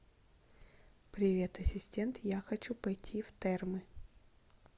привет ассистент я хочу пойти в термы